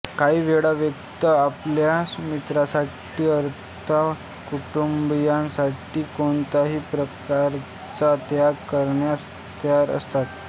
काही वेळा व्यक्ती आपल्या मित्रासाठी अथवा कुटुंबीयासाठी कोणत्याही प्रकारचा त्याग करण्यास तयार असतात